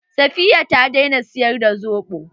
Safiyya ta daina siyar da soɓo.